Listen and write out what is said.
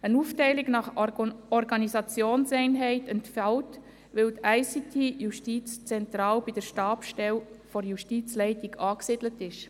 Eine Aufteilung nach Organisationseinheit entfällt, da die ICT justizzentral bei der Stabsstelle der Justizleitung angesiedelt ist.